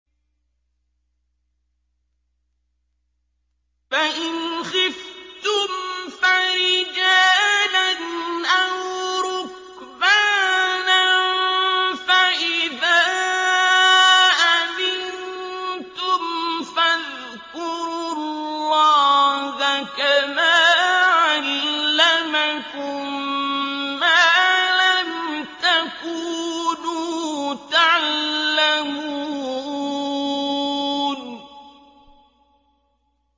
فَإِنْ خِفْتُمْ فَرِجَالًا أَوْ رُكْبَانًا ۖ فَإِذَا أَمِنتُمْ فَاذْكُرُوا اللَّهَ كَمَا عَلَّمَكُم مَّا لَمْ تَكُونُوا تَعْلَمُونَ